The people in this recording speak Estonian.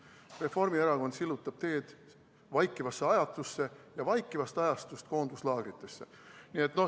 Reformierakond sillutab teed vaikivasse ajastusse ja vaikivast ajastust koonduslaagritesse.